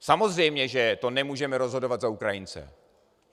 Samozřejmě, že to nemůžeme rozhodovat za Ukrajince.